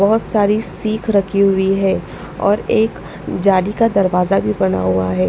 बहुत सारी सिख रखी हुई है और एक जाली का दरवाजा भी बना हुआ है।